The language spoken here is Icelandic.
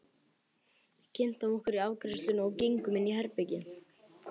Við kynntum okkur í afgreiðslunni og gengum inn í herbergið.